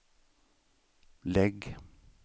lägg